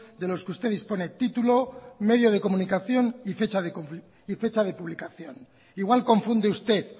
de los que usted dispone título medio de comunicación y fecha de publicación igual confunde usted